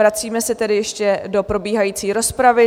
Vracíme se tedy ještě do probíhající rozpravy.